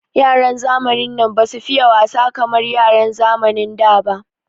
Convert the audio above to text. Yaran zamanin nan basu fiye wasa kamar yaran zamanin da ba.